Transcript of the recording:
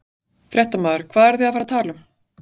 Fréttamaður: Hvað eruð þið að fara að tala um?